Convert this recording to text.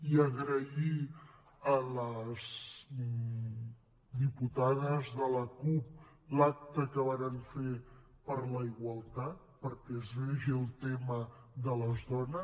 i agrair a les diputades de la cup l’acte que varen fer per la igualtat perquè es vegi el tema de les dones